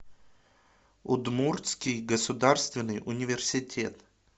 удмуртский государственный университет